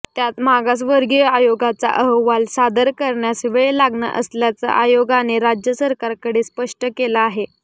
त्यात मागासवर्गीय आयोगाचा अहवाल सादर करण्यास वेळ लागणार असल्याचं आयोगाने राज्य सरकारकडे स्पष्ट केलं आहे